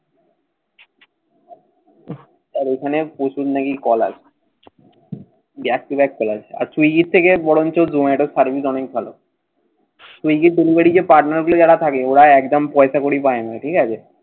আর ঐখানে প্রচুর নাকি কল আসে। back to back call আসে। আর তুই এর থেকে বরংচো service এটা অনেক ভালো। partner গুলো যারা থাকে। ওরা একদম পয়সাকড়ি পায় না। ঠিক আছে।